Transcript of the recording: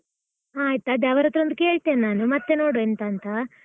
ಹ ಆಯ್ತು ಅದೆ, ಅವರತ್ರ ಒಂದು ಕೇಳ್ತೇನೆ ನಾನು. ಮತ್ತೆ ನೋಡುವ ಎಂತಾಂತ.